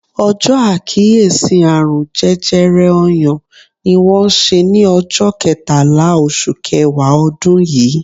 Ọjọ àkíyèsí àrùn jẹjẹrẹ ọyàn ni wón ṣe ni ọjọ ketala oṣù kẹwàá odun yii